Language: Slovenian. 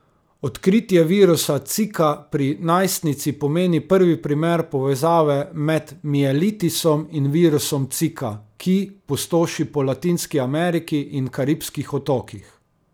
Odkritje virusa Zika pri najstnici pomeni prvi primer povezave med mielitisom in virusom Zika, ki pustoši po Latinski Ameriki in Karibskih otokih.